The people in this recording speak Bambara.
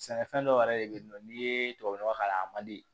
Sɛnɛfɛn dɔw yɛrɛ de bɛ yen nɔ n'i ye tubabu nɔgɔ k'a la a man di